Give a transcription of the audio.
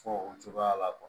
Fɔ o cogoya la